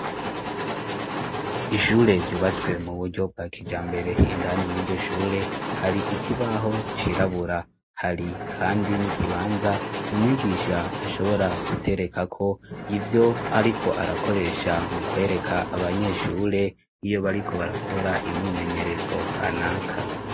Ishure ryubatswe mu buryo bwa kijambere, indani mw'iryo shure har'ikibaho cirabura, hari kandi n'ikibanza umwigisha ashobora guterekako ivyo ariko arakoresha mu kwereka abanyeshure, iyo bariko barakora imyimenyerezo kanaka.